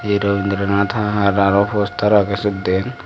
hee robindra nathahar aro postar agey siyot diyen.